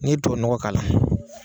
N'i tuwawu ɲɔgɔ k'a la